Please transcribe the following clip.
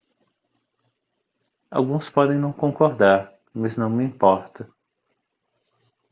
alguns podem não concordar mas não me importa